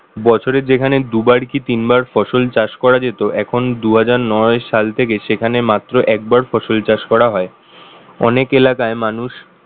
বছরে যেখানে দুবার কি তিনবার ফসল চাষ করা যেত এখন দুই হাজার নয় সাল থেকে সেখানে মাত্র একবার ফসল চাষ করা হয় অনেক এলাকায় মানুষ